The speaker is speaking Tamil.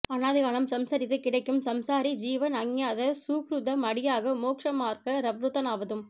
அநாதிகாலம் சம்சரித்து கிடக்கும் சம்சாரி ஜீவன் அஞ்ஞாத ஸூஹ்ருதம் அடியாக மோக்ஷ மார்க்க ப்ரவ்ருத்தனாவதும்